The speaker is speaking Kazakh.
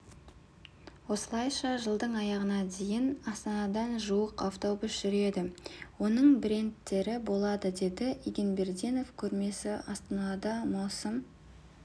осылайша жылдың аяғына дейін астанада жуық автобус жүреді оның брендтері болады деді егенбердинов көрмесі астанада маусым